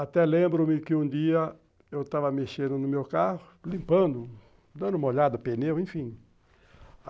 Até lembro-me que um dia eu estava mexendo no meu carro, limpando, dando uma olhada, pneu, enfim.